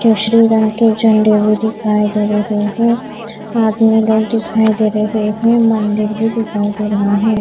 केशरी रंग के झण्डे भी दिखाई दे रहे हैं आदमी लोग दिखाई दे रहे हैं मंदिर भी दिखाई दे रहा है।